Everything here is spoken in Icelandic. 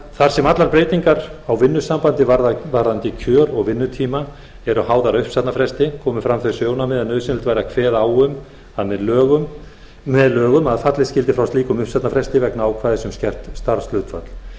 þar sem allar breytingar á vinnusambandi varðandi kjör og vinnutíma eru háðar uppsagnarfresti komu fram þau sjónarmið að nauðsynlegt væri að kveða á um það með lögum að fallið skyldi frá slíkum uppsagnarfresti vegna ákvæðis um skert starfshlutfall